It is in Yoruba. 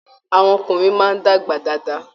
Àwọn ọkùnrin máa dàgbà dáadáa.